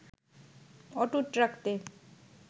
অটুট রাখতে